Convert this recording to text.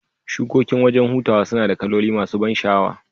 Shukokin wajan hutaw sunada kaloli masu ban shaawa